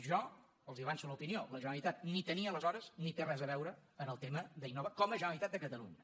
jo els avanço l’opinió la generalitat ni tenia aleshores ni té res a veure en el tema d’innova com a generalitat de catalunya